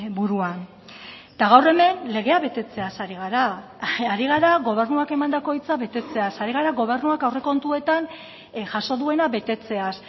buruan eta gaur hemen legea betetzeaz ari gara ari gara gobernuak emandako hitza betetzeaz ari gara gobernuak aurrekontuetan jaso duena betetzeaz